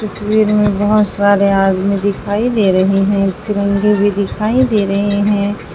तस्वीर में बहुत सारे आदमी दिखाई दे रहे हैं तिरंगे भी दिखाई दे रहे हैं।